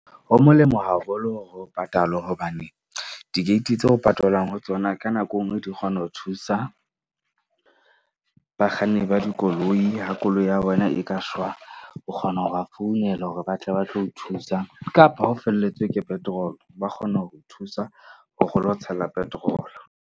Ho molemo haholo hore ho patalwe. Hobane di-gate tse o patalwang ho tsona. Ka nako enngwe, di kgona ho thusa bakganni ba dikoloi. Ha koloi ya bona e ka shwa, o kgona ho ba founela hore ba tle ba tlo o thusa kapa ha o felletswe ke petrol, ba kgona ho o thusa ho re lo tshela petrol-o.